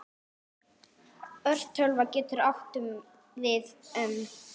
Örtölva getur átt við um